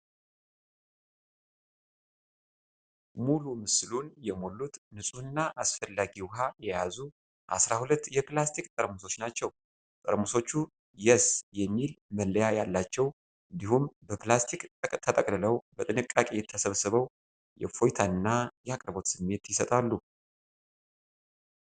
ሙሉ ምስሉን የሞሉት ንጹህና አስፈላጊ ውሃ የያዙ አስራ ሁለት የፕላስቲክ ጠርሙሶች ናቸው። ጠርሙሶቹ "የስ" የሚል መለያ ያላቸው እንዲሁም በፕላስቲክ ተጠቅልለው በጥንቃቄ ተሰብስበው የእፎይታና የአቅርቦት ስሜት ይሰጣሉ።